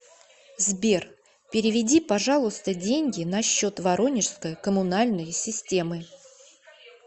сбер переведи пожалуйста деньги на счет воронежской комунальной системы